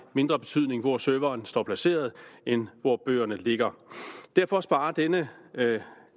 mindre betydning hvor serveren står placeret end hvor bøgerne ligger derfor sparer denne